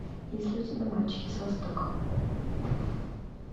есть ли у тебя мальчики с востока